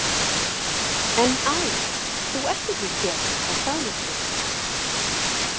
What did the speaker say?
En æ, þú ert ekki héðan er það nokkuð?